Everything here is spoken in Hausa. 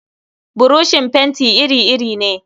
Buroshin fenti iri-iri ne.